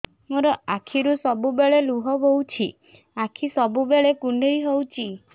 ମୋର ଆଖିରୁ ସବୁବେଳେ ଲୁହ ବୋହୁଛି ଆଖି ସବୁବେଳେ କୁଣ୍ଡେଇ ହଉଚି